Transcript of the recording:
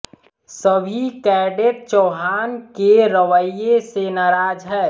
सभी कैडेट चौहान के रवैये से नाराज है